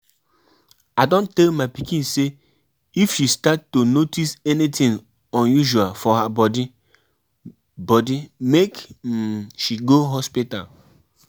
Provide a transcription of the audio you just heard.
I um hear um say she put um juju for dis office but I no dey fear her.